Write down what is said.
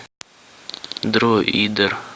дроидер